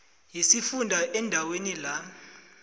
yesifunda endaweni la